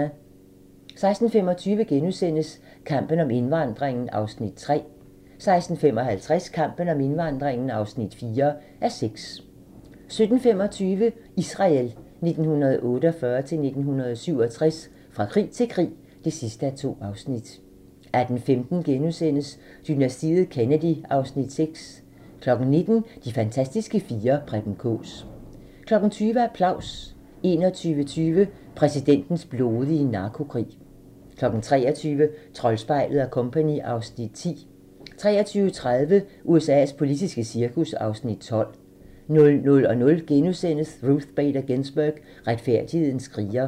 16:25: Kampen om indvandringen (3:6)* 16:55: Kampen om indvandringen (4:6) 17:25: Israel 1948-1967 - fra krig til krig (2:2) 18:15: Dynastiet Kennedy (Afs. 6)* 19:00: De fantastiske fire: Preben Kaas 20:00: Applaus 21:20: Præsidentens blodige narkokrig 23:00: Troldspejlet & Co. (Afs. 10) 23:30: USA's politiske cirkus (Afs. 12) 00:00: Ruth Bader Ginsburg – retfærdighedens kriger *